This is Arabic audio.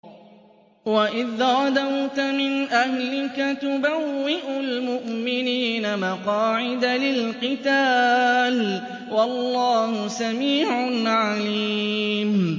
وَإِذْ غَدَوْتَ مِنْ أَهْلِكَ تُبَوِّئُ الْمُؤْمِنِينَ مَقَاعِدَ لِلْقِتَالِ ۗ وَاللَّهُ سَمِيعٌ عَلِيمٌ